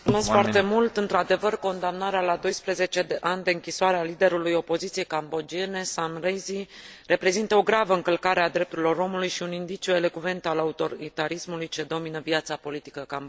Într adevăr condamnarea la 12 ani de închisoare a liderului opoziției cambodgiene Sam Rainsy reprezintă o gravă încălcare a drepturilor omului și un indiciu elocvent al autoritarismului ce domină viața politică cambodgiană.